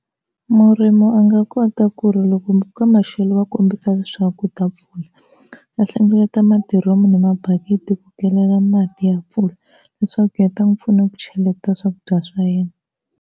Murimi a nga kota ku ri loko ka maxelo va kombisa leswaku ku ta mpfula, va hlengeleta madiromu ni mabakiti ku kelela mati ya mpfula leswaku ya ta n'wi pfuna ku cheleta swakudya swa yena.